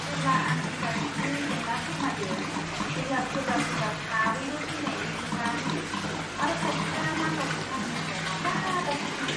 जेब्ला आं इन्टारनेटनि जेंना फोरमायो अब्ला सोरबा सोरबा थाबैनो फैनायनि खोथा होयो आरो खायसेआ माखासे साननि उनाव माब्लाबासो फैयो।